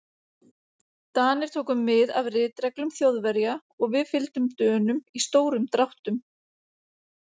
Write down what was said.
Danir tóku mið af ritreglum Þjóðverja og við fylgdum Dönum í stórum dráttum.